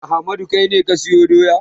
Ahmadu kai ne ka sayo doya?